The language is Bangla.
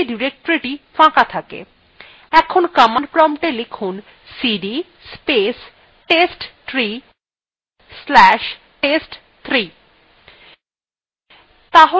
এখন command promptএ লিখুন cd space testtree slash test3